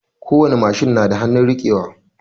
Kowani machine na da hanun rike wa